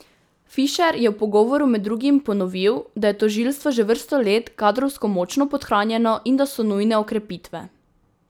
Fišer je v pogovoru med drugim ponovil, da je tožilstvo že vrsto let kadrovsko močno podhranjeno in da so nujne okrepitve.